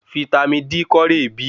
Vítámì D kọ re bí?